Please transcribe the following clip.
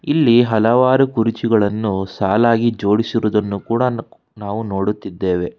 ಇಲ್ಲಿ ಹಲವಾರು ಕುರ್ಚಿಗಳನ್ನ ಸಾಲಾಗಿ ಜೋಡಿಸಿ ಇರುವುದನ್ನು ನಾವು ನೋಡುತ್ತಿದ್ದೇವೆ.